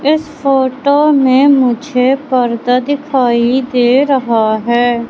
इस फोटो में मुझे पर्दा दिखाई दे रहा है।